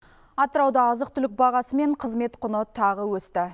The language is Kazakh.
атырауда азық түлік бағасы мен қызмет құны тағы өсті